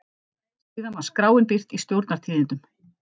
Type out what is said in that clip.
Síðan var skráin birt í Stjórnar- tíðindum.